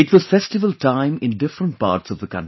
It was festival time in different parts of the country